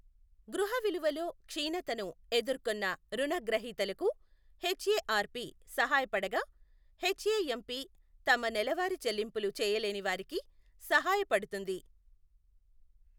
గృహ విలువలో క్షీణతను ఎదుర్కొన్న రుణగ్రహీతలకు హెచ్ఎఆర్పి సహాయపడగా, హెచ్ఎఎంపి తమ నెలవారీ చెల్లింపులు చేయలేని వారికి సహాయపడుతుంది.